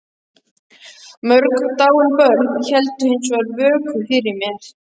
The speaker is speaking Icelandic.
Mörg dáin börn héldu hins vegar vöku fyrir mér.